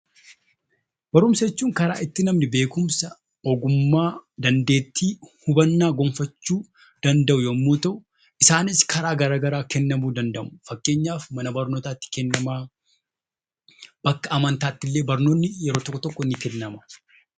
Barumsa jechuun karaa itti namni beekumsa, ogummaa, dandeettii , hubannaa gonfachuu danda'u yommuu ta'u, isaanis karaa garaagaraa kennamuu danda'u. Fakkeenyaaf mana barnootaatti kennama yookaan bakka amantaatti illee barnoonni tokko tokko ni kennama.